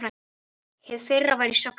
Hið fyrra var í sögnum.